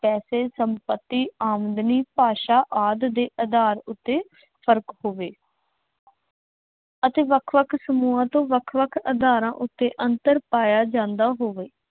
ਪੈਸੇ, ਸੰਪੱਤੀ, ਆਮਦਨੀ, ਭਾਸ਼ਾ, ਆਦਿ ਦੇ ਆਧਾਰ ਉੱਤੇ ਫਰਕ ਹੋਵੇ। ਅਤੇ ਵੱਖ ਵੱਖ ਸਮੂਹਾਂ ਤੋਂ ਵੱਖ ਵੱਖ ਆਧਾਰਾਂ ਉੱਤੇ ਅੰਤਰ ਪਾਇਆ ਜਾਂਦਾ ਹੋਵੇ।